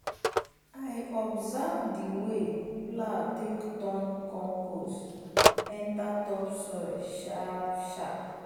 i observe the wey plow take turn compost enter topsoil sharp-sharp.